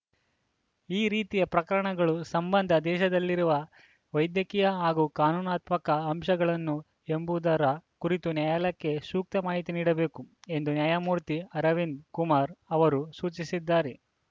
ಈ ರೀತಿಯ ಪ್ರಕರಣಗಳು ಸಂಬಂಧ ದೇಶದಲ್ಲಿರುವ ವೈದ್ಯಕೀಯ ಹಾಗೂ ಕಾನೂನಾತ್ಮಕ ಅಂಶಗಳನ್ನು ಎಂಬುದರ ಕುರಿತು ನ್ಯಾಯಾಲಯಕ್ಕೆ ಸೂಕ್ತ ಮಾಹಿತಿ ನೀಡಬೇಕು ಎಂದು ನ್ಯಾಯಮೂರ್ತಿ ಅರವಿಂದ ಕುಮಾರ್‌ ಅವರು ಸೂಚಿಸಿದ್ದಾರೆ